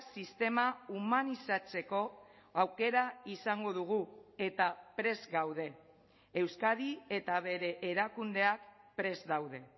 sistema humanizatzeko aukera izango dugu eta prest gaude euskadi eta bere erakundeak prest daude